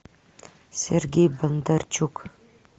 сергей бондарчук